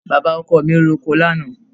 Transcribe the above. baba oko mi ro ọkọ lana